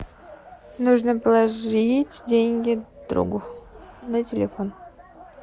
нужно положить деньги другу на телефон